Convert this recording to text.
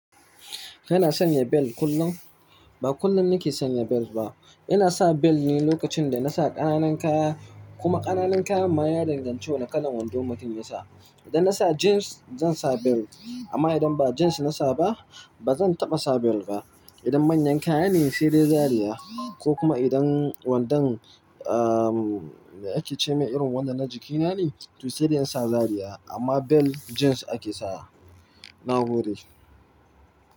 Kana sanya bel kullum? Ba kullum nake sanya bel ba. Ina sa bel ne lokacin da na sa ƙananan kaya, kuma ƙananan kaya ma ya danganci wane kalan wando mutum ya sa. Idan na sa jeans zan sa bel, amma idan ba jeans na sa ba, ba zan taɓa sa bel ba. Idan manyan kaya ne sai dai zariya ko kuma idan wandon, ahhh, me ake ce ma irin wandon na jikina ne, to sai dai in sa zariya, amma bel jeans ake sawa. Na gode.